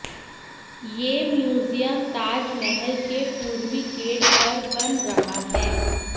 यह म्यूजियम ताजमहल के पूर्वी गेट पर बन रहा है